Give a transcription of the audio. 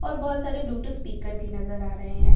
और बहुत सारे ब्लूटूथ स्पीकर भी नजर आ रहे हैं शॉप --